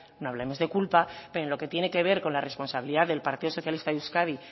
no hablemos de culpa pero en lo que tiene que ver con la responsabilidad del partido socialista de euskadi